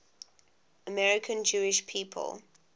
american jewish people